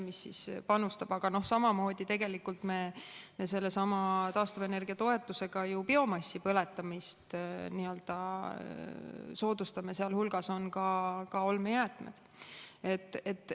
Aga samamoodi me tegelikult soodustame sellesama taastuvenergiatoetusega ju biomassi põletamist ja seal hulgas on ka olmejäätmed.